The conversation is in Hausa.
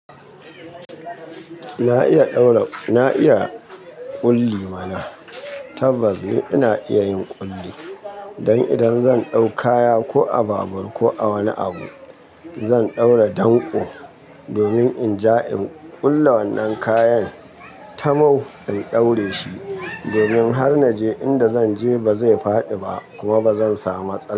Na iya ɗaura, na iya ƙulli mana. Tabbas ni ina iya yin ƙulli. Dan idan zan ɗau kaya ko a babur ko a wani abu, zan ɗaura danƙo domin in ja in ƙulle wannan kayan tamau in ɗaure shi. Domin har naje inda zanje ba zai faɗi ba kuma ba zan samu matsala.